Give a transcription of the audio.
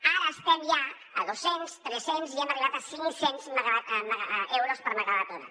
ara estem ja a dos cents tres cents i hem arribat a cinc cents euros per megawatt hora